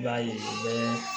I b'a ye u bɛ